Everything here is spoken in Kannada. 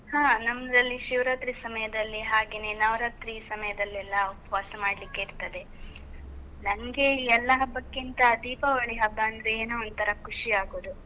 ಹಾ ನಮ್ದ್ರಲ್ಲಿ ಶಿವರಾತ್ರಿ ಸಮಯದಲ್ಲಿ, ಹಾಗೇನೇ ನವರಾತ್ರಿ ಸಮಯದಲ್ಲೆಲ್ಲ ಉಪ್ವಾಸ ಮಾಡ್ಲಿಕ್ಕೆ ಇರ್ತದೆ, ನನ್ಗೆ ಎಲ್ಲ ಹಬ್ಬಕ್ಕಿಂತ ದೀಪಾವಳಿ ಹಬ್ಬ ಅಂದ್ರೆ ಏನೋ ಒಂಥರಾ ಖುಷಿ ಆಗೋದು.